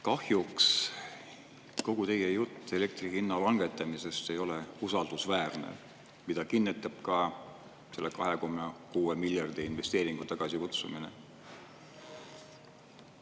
Kahjuks kogu teie jutt elektri hinna langetamisest ei ole usaldusväärne, mida kinnitab ka selle 2,6-miljardise investeeringu tagasikutsumine.